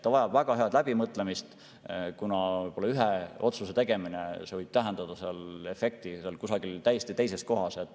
Kõik vajab väga head läbimõtlemist, kuna ühe otsuse tegemine võib tähendada efekti kusagil täiesti teises kohas.